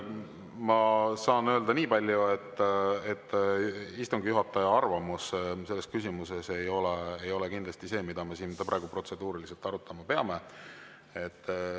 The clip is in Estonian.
Ma saan öelda niipalju, et istungi juhataja arvamus selles küsimuses ei ole kindlasti see, mida me siin praegu protseduuriliselt arutama peame.